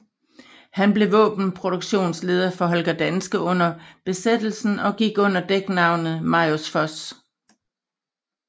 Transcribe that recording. Han blev våbenproduktionsleder for Holger Danske under besættelsen og gik under dæknavnet Marius Foss